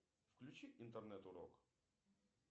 включи интернет урок